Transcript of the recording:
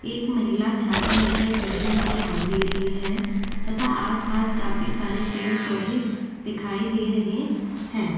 एक महिला छाता लेकर खड़ी हुई दिखाई दे रही है तथा आसपास काफी सारे पेड़-पौधे दिखाई दे रहे हैं।